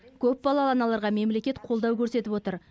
көпбалалы аналарға мемлекет қолдау көрсетіп отыр